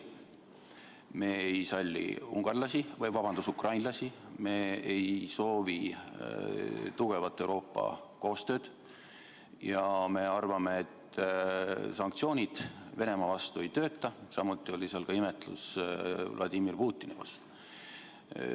Me ei salli ukrainlasi, me ei soovi tugevat Euroopa koostööd ja me arvame, et sanktsioonid Venemaa vastu ei tööta, samuti oli seal ka imetlust Vladimir Putini suhtes.